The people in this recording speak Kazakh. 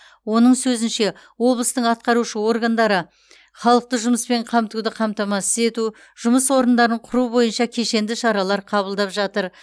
оның сөзінше облыстың атқарушы органдары халықты жұмыспен қамтуды қамтамасыз ету жұмыс орындарын құру бойынша кешенді шаралар қабылдап жатыр